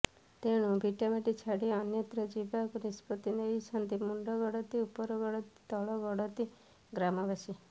ତେଣୁ ଭିଟାମାଟି ଛାଡ଼ି ଅନ୍ୟତ୍ର ଯିବାକୁ ନିଷ୍ପତ୍ତି ନେଇଛନ୍ତି ମୁଣ୍ତଗଡତି ଉପରଗଡତି ତଳଗଡତି ଗ୍ରାମବାସୀ